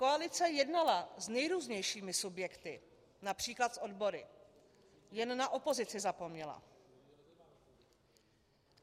Koalice jednala s nejrůznějšími subjekty, například s odbory, jen na opozici zapomněla.